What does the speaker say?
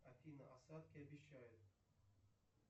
афина осадки обещают